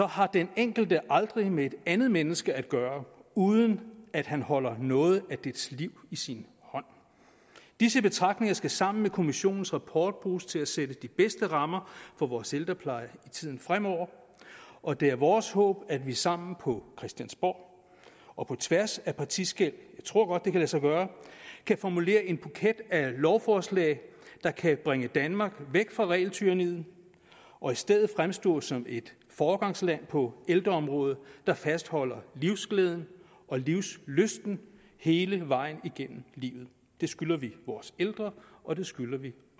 har den enkelte aldrig med et andet menneske at gøre uden at han holder noget af dets liv i sin hånd disse betragtninger skal sammen med kommissionens rapport bruges til at sætte de bedste rammer for vores ældrepleje i tiden fremover og det er vores håb at vi sammen på christiansborg og på tværs af partiskel jeg tror godt det kan lade sig gøre kan formulere en buket af lovforslag der kan bringe danmark væk fra regeltyranniet og i stedet fremstå som et foregangsland på ældreområdet der fastholder livsglæden og livslysten hele vejen igennem livet det skylder vi vores ældre og det skylder vi